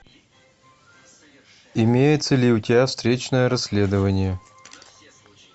имеется ли у тебя встречное расследование